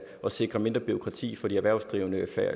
at sikre mindre bureaukrati for de erhvervsdrivende